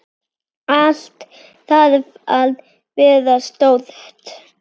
Allt þarf að vera stórt.